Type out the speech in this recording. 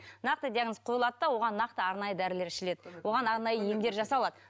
нақты диагноз қойылады да оған нақты арнайы дәрілер ішіледі оған арнайы емдер жасалады